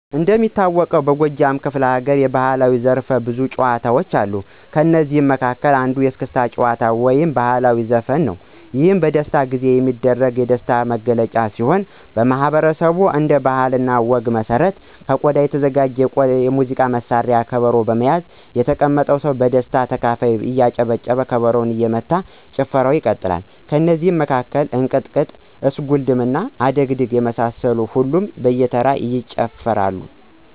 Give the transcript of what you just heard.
እንደሚታወቀውበጎጃም ክፈለሀገር የባህላዊ ዘርፈብዙ ጭዎታዎች አሉ ከእነዚህም መካከል አንዱ የእስክታ ጭዎታ ወይም ባህላዊ ዘፈን ነው ይህም በደስታ ጊዜ የሚደረግ የደስታ መገለጫ ሲሆን ማህበረሰቡ እንደ ባህለ እና ወግ መሰረት ከቆዳ የተዘጋጅ የሙዚቃ መሳርያ ከበሮ በመያዝ የተቀመጠው የደስታ ተካፋይ እያጨበጨበ ከበሮው እየተመታ ጭፈራው ይቀጥላል። ከእነዚህ መካከል እንቅጥቅጥ፣ እስጉልድም፣ አደግድግ፣ የመሳሰሉትን ሁሉም በየተራ ይጨፍራል።